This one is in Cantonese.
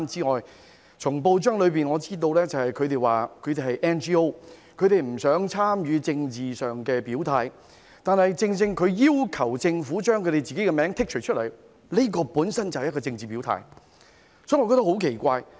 我從報章知悉，紅十字會指自己是 NGO， 不想作政治表態，但正正它要求政府把其名稱剔出名單，這本身便是一個政治表態，所以我覺得很奇怪。